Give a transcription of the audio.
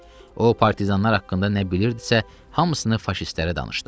O partizanlar haqqında nə bilirdisə, hamısını faşistlərə danışdı.